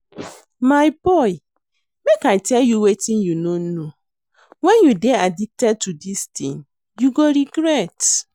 My boy make I tell you wetin you no know. Wen you dey addicted to dis thing you go regret.